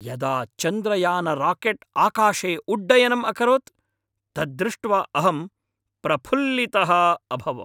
यदा चन्द्रयानराकेट् आकाशे उड्डयनम् अकरोत् तद्दृष्ट्वा अहं प्रफुल्लितः अभवम्।